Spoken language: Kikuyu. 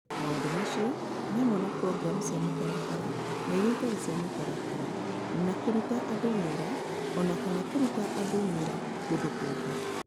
Maũndũ macio nĩ hamwe na programu cia mũtaratara na iria itarĩ cia mũtaratara, na kũruta andũ wĩra o na kana kũruta andũ wĩra kũndũ kũngĩ.